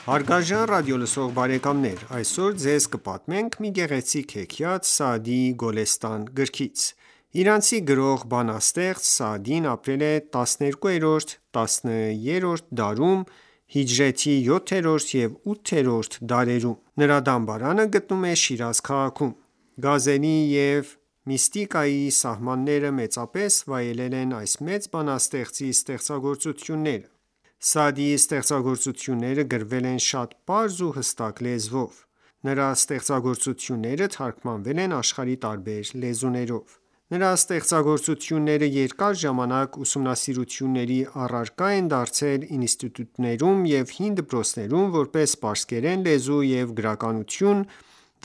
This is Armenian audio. Հարգարժան ռադիոլսող բարեկամներ, այսօր ձեզ կպատմենք մի գեղեցիկ հեքիաթ Սաադիի Գոլեստան գրքից: Իրանցի գրող, բանաստեղծ Սաադին ապրել է 12-13-րդ դարերում (հիջրեթի 7-րդ և 8-րդ դարերում): Նրա դամբարանը գտնվում է Շիրազ քաղաքում։ Գազելի և միստիկայի սիրահարները մեծապես վայելել են այս մեծ բանաստեղծի ստեղծագործությունները: Սաադիի ստեղծագործությունները գրվել են շատ պարզ ու հստակ լեզվով: Նրա ստեղծագործությունները թարգմանվել են աշխարհի տարբեր լեզուներով: Նրա ստեղծագործությունները երկար ժամանակ ուսումնասիրությունների առարկա են դարձել ինստիտուտներում և հին դպրոցներում՝ որպես պարսկերեն լեզու և գրականություն